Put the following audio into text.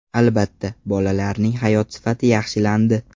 Albatta, bolalarning hayot sifati yaxshilandi.